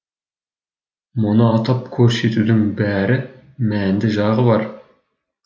мұны атап көрсетудің бәрі мәнді жағы бар